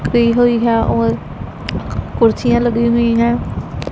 Free हुई है और कुर्सियां लगी हुई हैं।